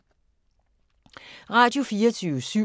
Radio24syv